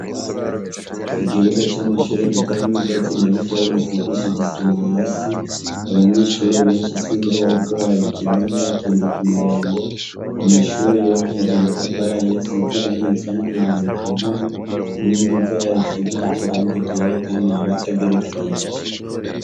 Ikibuga c 'amashure kitarimw' ivyatsi nabikeyi gisigishij' isima hasi, abanyeshure benshi sinzi bariko bagikiniramwo batonze kumurongo, amashure yubakishij' amatafar' ahiy' asiz' irangi risa n'umuhondo kumpome, inkingi zayo zisigishij' irangi ryera kandi yubats' agerekeranije.